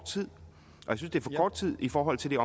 tid i forhold til